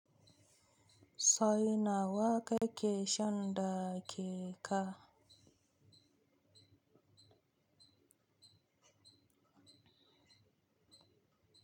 So ina waka ke shanda ke ka?